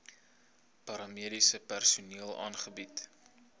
paramediese personeel aangebied